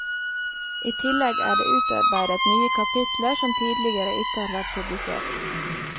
I tillegg er det utarbeidet nye kapitler som tidligere ikke har vært publisert.